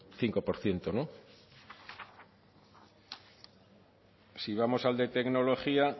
cinco por ciento no si vamos al de tecnología